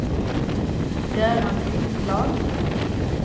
Göran Lindblad